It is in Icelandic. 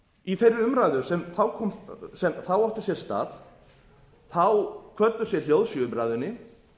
í þeirri umræðu sem þá átti sér stað kvöddu sér hljóðs í umræðunni